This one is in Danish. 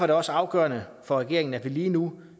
det også afgørende for regeringen at vi lige nu